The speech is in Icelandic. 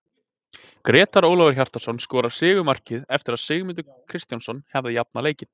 Grétar Ólafur Hjartarson skoraði sigurmarkið eftir að Sigmundur Kristjánsson hafði jafnað leikinn.